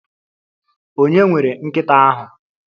Ònye nwere nkita ahu?